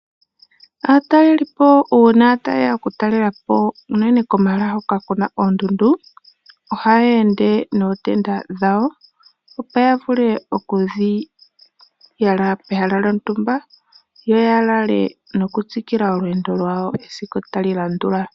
Aatalelipo uuna taye ya oku talelapo unene komahala hoka kuna oondundu. Ohaya ende nootenda dhawo opo ya vule oku dhi yala pehala lyontumba yo ya lale noku tsikila olweendo lwayo esiku tali landula